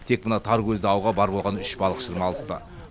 тек мына таркөзді ауға бар болғаны үш балықшыны алыпты